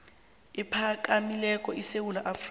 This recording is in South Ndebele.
ephakamileko esewula afrika